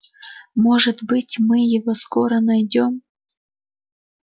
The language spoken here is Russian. может быть мы его скоро найдём